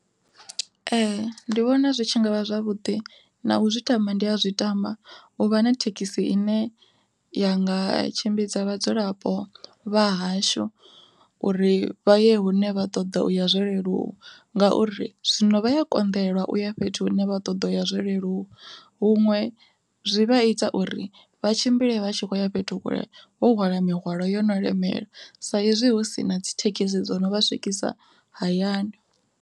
Ee ndi vhona zwi tshi ngavha zwavhuḓi na u zwi tama ndi a zwi tama, u vha na thekhisi ine ya nga tshimbidza vhadzulapo vha hashu, uri vha ye hune vha ṱoḓa u ya zwo leluwa. Ngauri zwino vha ya konḓelwa uya fhethu hune vha ṱoḓa ya zwo leluwa, huṅwe zwi vha ita uri vha tshimbile vha tshi khoya fhethu vho hwala mihwalo yo no lemela sa izwi hu sina dzi thekhisi dzo no vha swikisa hayani.